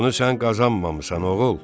Bunu sən qazanmamısan, oğul!